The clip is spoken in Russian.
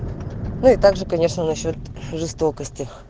ну и так же конечно насчёт жестокости